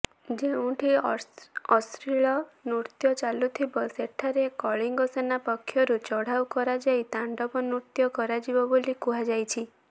ଯେଉଁଠି ଅଶ୍ଲୀଳ ନୃତ୍ୟ ଚାଲୁଥିବ ସେଠାରେ କଳିଙ୍ଗସେନା ପକ୍ଷରୁ ଚଢ଼ାଉ କରାଯାଇ ତାଣ୍ଡବ ନୃତ୍ୟ କରାଯିବ ବୋଲି କୁହାଯାଇଛି